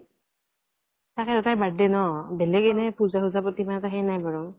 তাকে তাইৰ birthday, বেলেগ এনেই পুজা চুজা প্ৰতি সেই নাই বাৰু